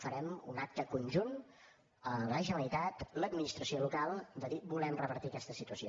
farem un acte conjunt la generalitat i l’administració local de dir volem revertir aquesta situació